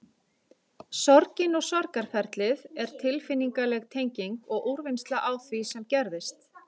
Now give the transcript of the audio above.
Sorgin og sorgarferlið er tilfinningaleg tenging og úrvinnsla á því sem gerðist.